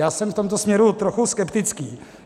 Já jsem v tomto směru trochu skeptický.